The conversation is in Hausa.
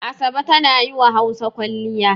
Asabe tana yi wa Hausa kwalliya.